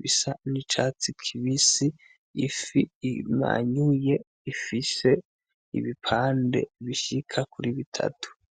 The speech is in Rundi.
bisa n'icatsi kibisi ifi imanyuye ifise ibipande bishika kuri bitatu.